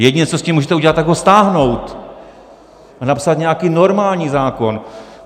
Jediné, co s tím můžete udělat, tak ho stáhnout a napsat nějaký normální zákon.